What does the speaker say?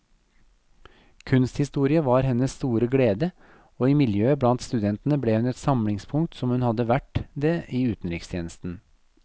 Kunsthistorie var hennes store glede, og i miljøet blant studentene ble hun et samlingspunkt som hun hadde vært det i utenrikstjenesten.